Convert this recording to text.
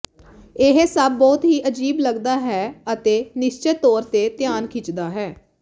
ਇਹ ਸਭ ਬਹੁਤ ਹੀ ਅਜੀਬ ਲੱਗਦਾ ਹੈ ਅਤੇ ਨਿਸ਼ਚਤ ਤੌਰ ਤੇ ਧਿਆਨ ਖਿੱਚਦਾ ਹੈ